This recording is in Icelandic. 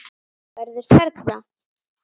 Verður perla.